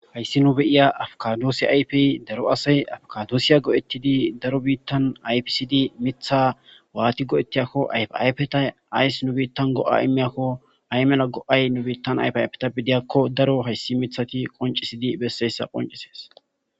Hayssi nu beyiya afkadoosi aypey daro asay afkadoosiya go7ettidi daro biittan aypisidi mitha waati go7ettiyakko yaypeta ayss nu biittan go7a imeyakko ay mela go7ay nu biittan ayfi aypetabidiyakko daro hayssi mithati qoncisidi besseyssa qoncisees.